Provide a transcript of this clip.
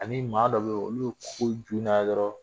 Ani maa dɔ bɛ olu ko